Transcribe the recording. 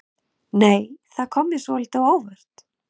Nei! Það kom mér svolítið á óvart!